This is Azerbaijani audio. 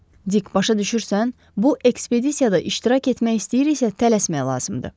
Dik başa düşürsən, bu ekspedisiyada iştirak etmək istəyiriksə tələsmək lazımdır.